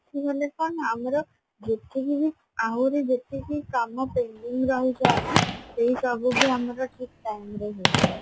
ଉଠିଗଲେ କଣ ନା ଆମର ଯେତିକି ବି ଆହୁରି ଯେତିକି କାମ pending ରାହିଯାଏ ନା ସେଇ ସବୁ ବି ଆମର ଠିକ time ରେ ହେଇଯାଏ